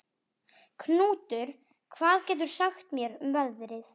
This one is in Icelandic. Knútur, hvað geturðu sagt mér um veðrið?